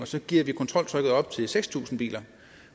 så gearer vi kontroltrykket op til seks tusind biler